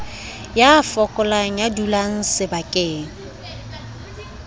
ya fokolang ya dulang sebakeng